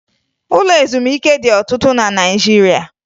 Ụlọ ezumike dị ọtụtụ na Naịjirịa